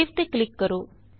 save ਤੇ click ਕਰੋ